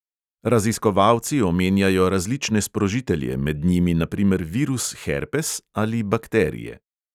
Raziskovalci omenjajo različne sprožitelje, med njimi na primer virus herpes ali bakterije.